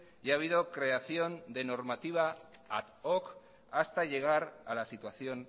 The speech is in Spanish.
y ha habido creación de normativa ad hoc hasta llegar a la situación